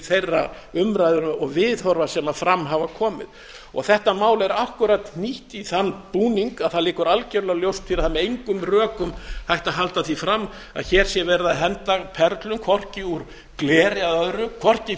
þeirra umræðna og viðhorfa sem fram hafa komið þetta mál er akkúrat hnýtt í þann búning að það liggur algjörlega ljóst fyrir að það er með engum rökum hægt að halda því fram að hér sé verið að henda perlum hvorki úr gleri eða öðru hvorki